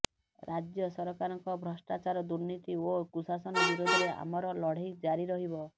ରାଜ୍ୟ ସରକାରଙ୍କ ଭ୍ରଷ୍ଟାଚାର ଦୁର୍ନୀତି ଓ କୁଶାସନ ବିରୋଧରେ ଆମର ଲଢେଇ ଜାରି ରହିବ